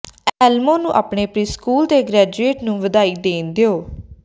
Elmo ਨੂੰ ਆਪਣੇ preschool ਦੇ ਗ੍ਰੈਜੂਏਟ ਨੂੰ ਵਧਾਈ ਦੇਣ ਦਿਓ